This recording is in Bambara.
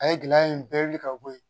A ye gɛlɛya in bɛɛ wili ka bɔ yen